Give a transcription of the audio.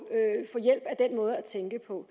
hjælp af den måde at tænke på